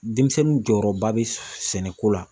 Denmisɛnnin jɔyɔrɔba bɛ sɛnɛko la.